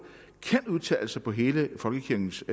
kan udtale sig på hele folkekirkens